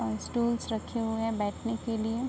और स्टूल्स रखे हुए है बैठने के लिए।